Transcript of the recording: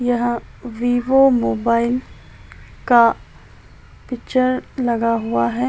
यह Vivo mobile का picture लगा हुआ हैं।